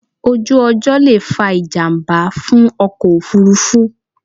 Ojú ọjọ́ lè fa ìjàmbá fún ọkọ̀ òfúrufú